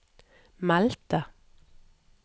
meldte